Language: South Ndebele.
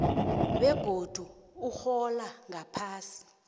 begodu urhola ngaphasi